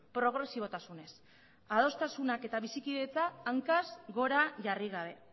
progresibotasunez adostasunak eta bizikidetza hankaz gora jarri gabe